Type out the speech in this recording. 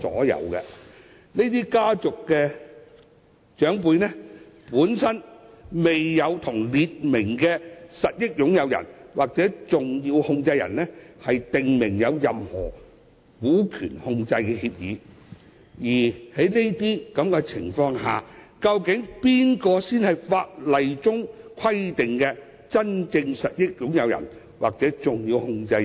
由於這些家族的長輩並未與訂明的實益擁有人或重要控制人訂立任何股權控制的協議，在這情況下，究竟誰才是法例規定的真正實益擁人或重要控制人？